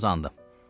Bir xırdacı uzandım.